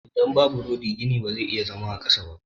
Idan babu rodi gini ba ya iya zaman kansa.